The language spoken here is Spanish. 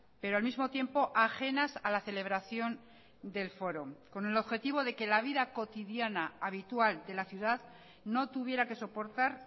pero al mismo tiempo ajenas a la celebración del foro con el objetivo de que la vida cotidiana habitual de la ciudad no tuviera que soportar